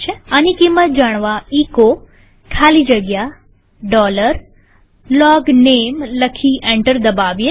આની કિંમત જાણવા એચો ખાલી જગ્યા LOGNAME લખી એન્ટર દબાવીએ